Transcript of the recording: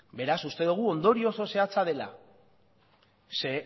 beraz uste dogu ondorio oso zehatza dela ze